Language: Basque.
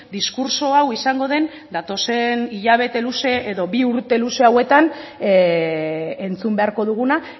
diskurtso hau izango den datozen hilabete luze edo bi urte luze hauetan entzun beharko duguna